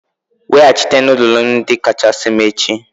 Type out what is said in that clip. Weghachite nudulu ndi kachasị m echi!